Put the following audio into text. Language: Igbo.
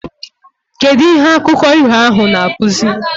Kedu ihe akụko iho ahu na akuzi?